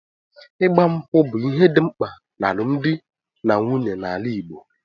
Igba nkwu bụ ihe dị mkpa n'alụmdi na nwunye na ala Igbo